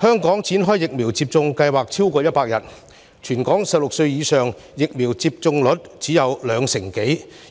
香港的疫苗接種計劃已展開超過100天，但全港16歲或以上人士的疫苗接種率卻只有兩成多，